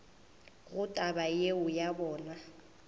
gore taba yeo ya bona